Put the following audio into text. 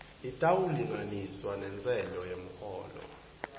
itawulinganiswa nentsela yemholo